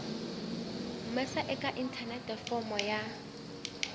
humesa eka inthanete fomo ya